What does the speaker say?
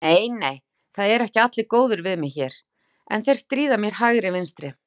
Nei nei, það eru allir góðir við mig hér, en þeir stríða mér hægri vinstri.